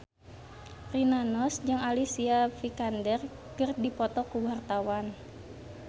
Rina Nose jeung Alicia Vikander keur dipoto ku wartawan